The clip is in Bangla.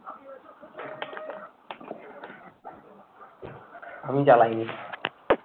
আমি জ্বালাই নি।